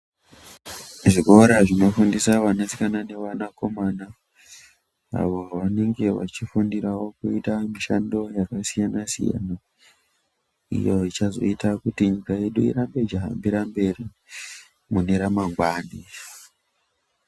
Zvikora zvinofundisa wanasikana newanakomana avo vanenge vachifundirawo kuita mishando yakasiyana-siyana, iyo ichazoita kuti nyika yedu irambe ichihambira mberi mune ramangwani.